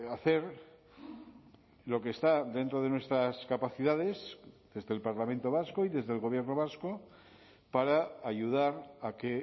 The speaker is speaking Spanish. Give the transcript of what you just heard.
hacer lo que está dentro de nuestras capacidades desde el parlamento vasco y desde el gobierno vasco para ayudar a que